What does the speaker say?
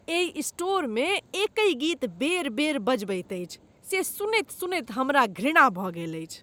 एहि स्टोरमे एकहि गीत बेर बेर बजबैत अछि से सुनैत सुनैत हमरा घृणा भऽ गेल अछि।